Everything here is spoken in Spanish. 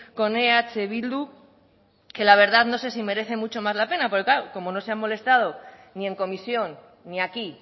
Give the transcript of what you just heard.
con eh bildu que la verdad no sé si merece mucho más la pena porque claro como no se han molestado ni en comisión ni aquí